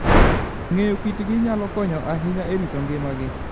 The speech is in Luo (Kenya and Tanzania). Ng'eyo kitgi nyalo konyo ahinya e rito ngimagi.